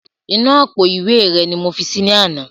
Inú àpò ìwé rẹ ni mo fi si ní àná